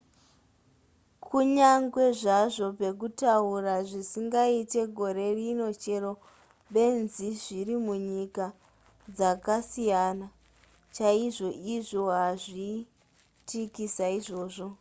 kunyange zvazvo pakutaura zvingaitika gore negore chero benzi zviri munyika dzakasiyana chaizvoizvo haizvitiki saizvozvo